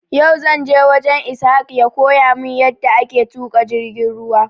Yau zanje wajen Ishaq ya koya mun yada ake tuƙa jirgin ruwa